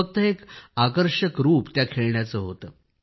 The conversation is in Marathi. फक्त एक आकर्षक रूप त्या खेळण्याचं होतं